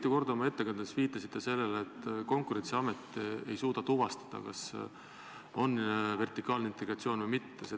Te viitasite oma ettekandes mitu korda sellele, et Konkurentsiamet ei suuda tuvastada, kas on tegemist vertikaalse integratsiooniga või mitte.